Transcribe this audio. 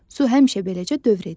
Su həmişə beləcə dövr edir.